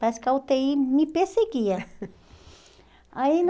Parece que a u tê i me perseguia. aí